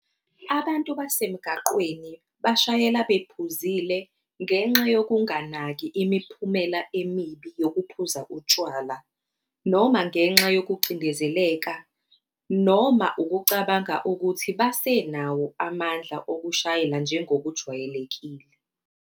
Abantu basemgaqweni bashayela bephuzile ngenxa yokunganaki imiphumela emibi yokuphuza utshwala, noma ngenxa yokucindezeleka, noma ukucabanga ukuthi basenawo amandla okushayela njengokujwayelekile.